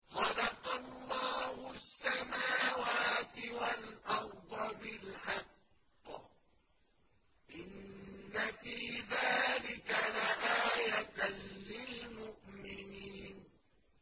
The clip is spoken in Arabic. خَلَقَ اللَّهُ السَّمَاوَاتِ وَالْأَرْضَ بِالْحَقِّ ۚ إِنَّ فِي ذَٰلِكَ لَآيَةً لِّلْمُؤْمِنِينَ